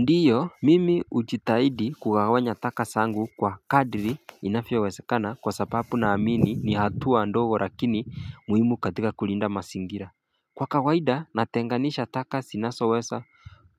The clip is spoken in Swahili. Ndiyo mimi ujitahidi kugawanya taka zangu kwa kadri inavyowezekana kwa sababu na amini ni hatua ndogo lakini muhimu katika kulinda mazingira kwa kawaida natenganisha taka zinazowesa